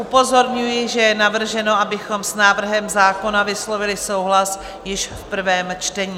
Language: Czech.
Upozorňuji, že je navrženo, abychom s návrhem zákona vyslovili souhlas již v prvním čtení.